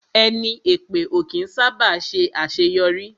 Ẹni èpè ó kí ń sá bà ṣe àṣéyọrí